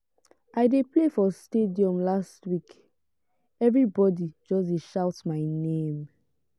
i dey play for stadium last week everbodi just dey shout my name.